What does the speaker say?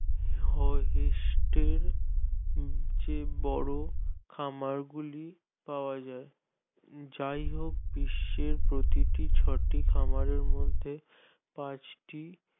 হোহিষ্টের যে বড় খামারগুলি পাওয়া যায় যায় হোক যাইহোক বিশ্বের প্রতিটি চটি খামারের মধ্যে পাঁচটি